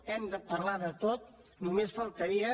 hem de parlar de tot només faltaria